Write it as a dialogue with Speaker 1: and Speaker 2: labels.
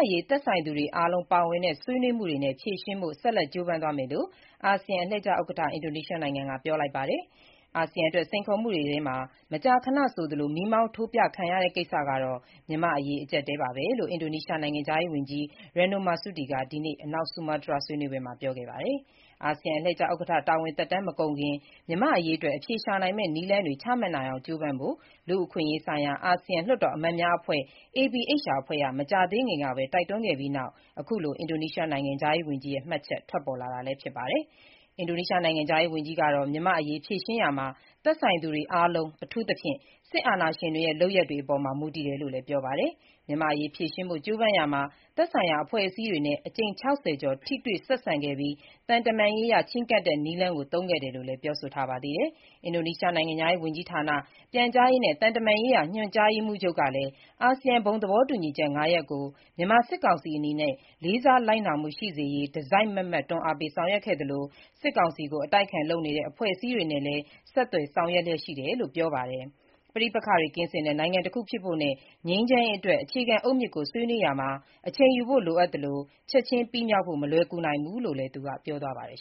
Speaker 1: ရေး သက်ဆိုင်သူတွေ အားလုံးပါဝင်တဲ့ ဆွေးနွေးမှုတွေနဲ့ ဖြေရှင်းဖို့ ဆက်လက်ကြိုးပမ်းသွားမယ်လို့ အာဆီယံအလှည့်ကျဥက္ကဋ္ဌ အင်ဒိုနီးရှားနိုင်ငံက ပြောလိုက်ပါတယ်။ အာဆီယံအတွက် စိန်ခေါ်မှုတွေထဲမှာ မကြာခဏဆိုသလို မီးမောင်းထိုးပြခံရတဲ့ ကိစ္စကတော့ မြန်မာ့နိုင်ငံရေး အကြပ်အတည်းပါပဲ လို့လည်း အင်ဒိုနီးရှားနိုင်ငံခြားရေးဝန်ကြီး Retno Marsudi က ဒီနေ့ အနောက်ဆူမားတြားက ဆွေးနွေးပွဲမှာ ပြောခဲ့တာပါ။ အာဆီယံ အလှည့်ကျဥက္ကဋ္ဌ တာဝန်သက်တမ်း မကုန်ခင် မြန်မာ့အရေးအတွက် အဖြေရှာနိုင်မယ့် နည်းလမ်းတွေ ချမှတ်နိုင်အောင် ကြိုးပမ်းဖို့ လူ့အခွင့်အရေးဆိုင်ရာ အာဆီယံလွှတ်တော်အမတ်များအဖွဲ့ (APHR) အဖွဲ့က မကြာသေးခင်ကပဲ တိုက်တွန်းခဲ့ပြီးနောက်အခုလို အင်ဒိုနီးရှား နိုင်ငံခြားရေးဝန်ကြီးရဲ့ မှတ်ချက် ထွက်ပေါ်လာတာလည်း ဖြစ်ပါတယ်။ အင်ဒိုနီးရှား နိုင်ငံခြားရေးဝန်ကြီးကတော့ မြန်မာ့အရေး ဖြေရှင်းရာမှာ သက်ဆိုင်သူတွေ အားလုံး၊ အထူးသဖြင့် စစ်အာဏာရှင်တွေရဲ့ လုပ်ရပ်တွေအပေါ်မှာ မူတည်တယ်လို့လည်း ပြောပါတယ်။ မြန်မာ့အရေး ဖြေရှင်းဖို့ ကြိုးပမ်းရာမှာ သက်ဆိုင်ရာ အဖွဲ့အစည်းတွေနဲ့ အကြိမ် ၆၀ ကျော် ထိတွေ့ဆက်ဆံခဲ့ပြီး သံတမန်ရေးအရ ချဉ်းကပ်တဲ့ နည်းလမ်းကို သုံးခဲ့တယ်လို့လည်း ပြောဆိုထားပါသေးတယ်။ အင်ဒိုနီးရှား နိုင်ငံခြားရေး ဝန်ကြီးဌာန၊ ပြန်ကြားရေးနဲ့ သံတမန်ရေးရာ ညွှန်ကြားရေးမှူးချုပ် Teuku Faizasyah ကလည်း အာဆီယံဘုံသဘောတူညီချက် ၅ ရပ်ကို မြန်မာစစ်ကောင်စီ အနေနဲ့ လေးစားလိုက်နာမှု ရှိစေရေး တစိုက်မတ်မတ် တွန်းအားပေးဆောင်ရွက်ခဲ့သလို၊ စစ်ကောင်စီကို အတိုက်အခံ လုပ်နေတဲ့ အဖွဲ့အစည်းတွေနဲ့လည်း ဆက်သွယ်ဆောင်ရွက်လျှက်ရှိတယ်လို့ ပြောပါတယ်။ ပဋိပက္ခတွေ ကင်းစင်တဲ့ နိုင်ငံတခုဖြစ်ဖို့နဲ့ ငြိမ်းချမ်းရေးအတွက် အခြေခံအုတ်မြစ်ကို ဆွေးနွေးရာမှာ အချိန်ယူဖို့ လိုအပ်သလို ချက်ချင်းပြီးမြောက်ဖို့မလွယ်ကူနိုင်ဘူးလို့လည်း သူကပြောပါတယ်